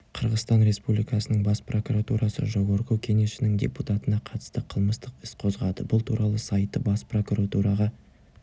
қырғызстан республикасының бас прокуратурасы жогорку кенешінің депутатына қатысты қылмыстық іс қозғады бұл туралы сайты бас прокуратураға